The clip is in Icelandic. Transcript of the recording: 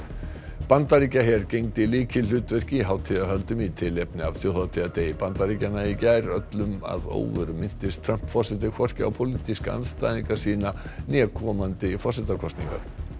Bandaríkjaher gegndi lykilhlutverki í hátíðahöldum í tilefni af þjóðhátíðardegi Bandaríkjanna í gær öllum að óvörum minntist Trump forseti hvorki á pólitíska andstæðinga sína né komandi forsetakosningar